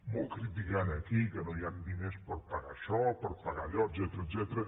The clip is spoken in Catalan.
molt criticar aquí que no hi ha diners per pagar això per pagar allò etcètera